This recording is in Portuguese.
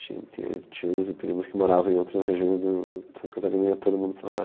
Tinha tinha tios e primos que moravam em outras regiões de Santa Catarina e ia todo mundo para lá.